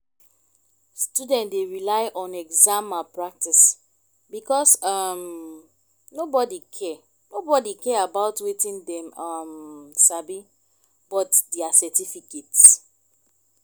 student dey rely on exam malpractice because um nobody care nobody care about wetin dem um sabi but their certificate